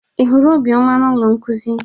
Ị hụrụ Obioma na ụlọ nkuzi?